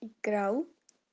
играл